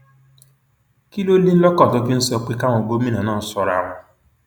kí ló ní lọkàn tó fi ń sọ pé káwọn gómìnà náà ṣọra wọn